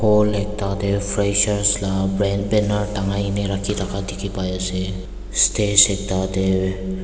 hall ekta te fresher laga brand banner tangai kini rakhi taka dekhi pai ase stage ekta te--